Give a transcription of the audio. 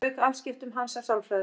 Þá lauk afskiptum hans af sálfræði.